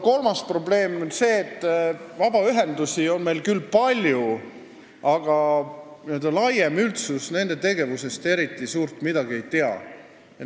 Kolmas probleem on see, et vabaühendusi on meil küll palju, aga laiem üldsus nende tegevusest suurt midagi ei tea.